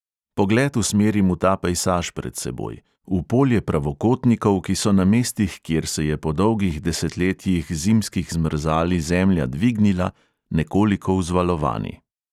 Pogled usmerim v ta pejsaž pred seboj, v polje pravokotnikov, ki so na mestih, kjer se je po dolgih desetletjih zimskih zmrzali zemlja dvignila, nekoliko vzvalovani.